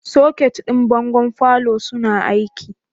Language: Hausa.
Soket ɗin bangon falo suna aiki?